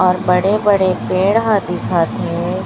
और बड़े बड़े पेड़ ह दिख थे।